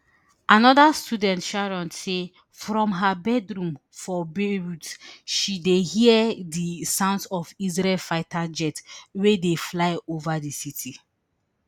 anoda student sharon say from her bedroom for beirut she dey hear di sounds of israeli fighter jets wey dey fly ova di city